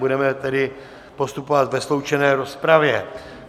Budeme tedy postupovat ve sloučené rozpravě.